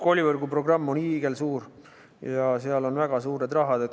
Koolivõrgu programm on hiigelsuur ja seal on väga suured rahad.